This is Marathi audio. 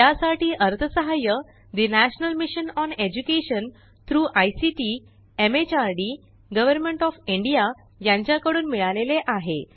यासाठी अर्थसहाय्य ठे national mission on education through ICT MHRD government of India यांच्या कडून मिळाले आहे